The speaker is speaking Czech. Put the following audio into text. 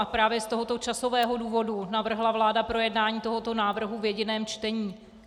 A právě z tohoto časového důvodu navrhla vláda projednání tohoto návrhu v jediném čtení.